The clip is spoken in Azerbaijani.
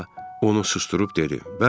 Kalça onu susdurub dedi: